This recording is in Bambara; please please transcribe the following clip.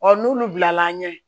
n'olu bilala an ɲɛ